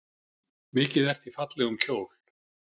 Mikið ertu í fallegum kjól.